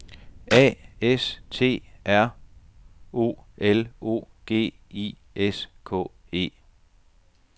A S T R O L O G I S K E